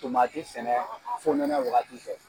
sɛnɛ fonɛnɛ wagati fɛ